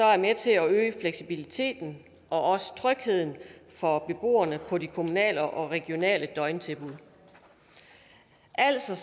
er med til at øge fleksibiliteten og trygheden for beboerne på de kommunale og regionale døgntilbud altså